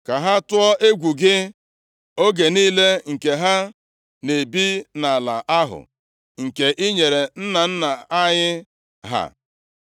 ka ha tụọ egwu gị oge niile nke ha na-ebi nʼala ahụ nke i nyere nna nna anyị ha.